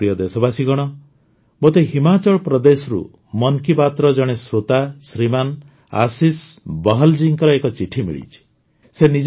ମୋର ପ୍ରିୟ ଦେଶବାସୀଗଣ ମୋତେ ହିମାଚଳ ପ୍ରଦେଶରୁ ମନ୍ କୀ ବାତ୍ର ଜଣେ ଶ୍ରୋତା ଶ୍ରୀମାନ ଆଶିଷ ବହଲ୍ ଜୀଙ୍କର ଏକ ଚିଠି ମିଳିଛି